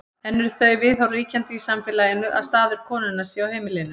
enn eru þau viðhorf ríkjandi í samfélaginu að staður konunnar sé á heimilinu